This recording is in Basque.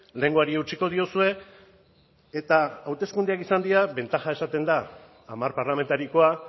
lehengoari eutsiko diozue eta hauteskundeak izan dira bentaja izan da hamar parlamentariokoa